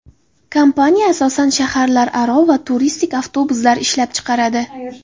Kompaniya asosan shaharlararo va turistik avtobuslar ishlab chiqaradi.